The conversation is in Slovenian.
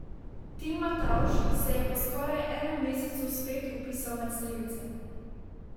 Tim Matavž se je po skoraj enem mesecu spet vpisal med strelce.